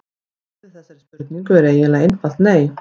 Svarið við þessari spurningu er eiginlega einfalt nei.